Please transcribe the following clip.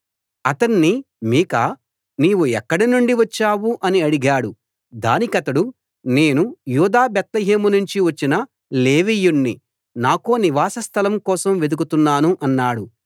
అతణ్ణి మీకా నీవు ఎక్కడ నుంచి వచ్చావు అని అడిగాడు దానికతడు నేను యూదా బేత్లెహేమునుంచి వచ్చిన లేవీయుణ్ణి నాకో నివాస స్థలం కోసం వెదుకుతున్నాను అన్నాడు